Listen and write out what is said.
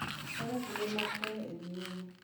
Kaka kinde mag koyo ne dhi nyime.